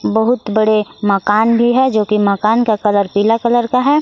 बहुत बड़े मकान भी है जो कि मकान का कलर पीला कलर का है।